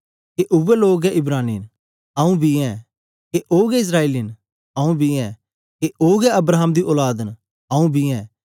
के उवै लोग गै इब्रानी न आंऊँ बी ऐं के ओ गै इस्राएली न आंऊँ बी ऐं के ओ गै अब्राहम दी औलाद न आंऊँ बी ऐं